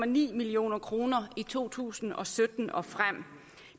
million kroner i to tusind og sytten og frem